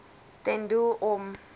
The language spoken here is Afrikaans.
ten doel om